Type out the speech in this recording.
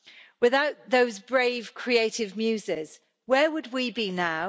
Without those brave creative muses, where would we be now?